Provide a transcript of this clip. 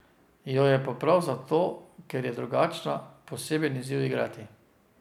Jo je pa prav zato, ker je drugačna, poseben izziv igrati.